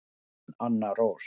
Þín Anna Rós.